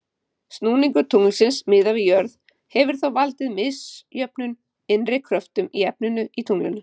Snúningur tunglsins miðað við jörð hefur þá valdið misjöfnum innri kröftum í efninu í tunglinu.